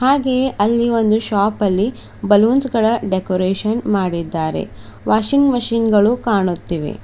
ಹಾಗೆಯೇ ಅಲ್ಲಿ ಒಂದು ಶಾಪ್ ಅಲ್ಲಿ ಬಲೂನ್ಸ್ ಗಳ ಡೆಕೊರೇಷನ್ ಮಾಡಿದ್ದಾರೆ ವಾಷಿಂಗ್ ಮೆಷಿನ್ ಗಳು ಕಾಣುತ್ತಿವೆ.